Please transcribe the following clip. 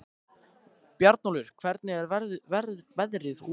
Bjarnólfur, hvernig er veðrið úti?